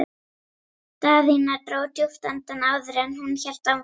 Daðína dró djúpt andann áður en hún hélt áfram.